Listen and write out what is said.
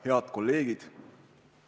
Head kolleegid!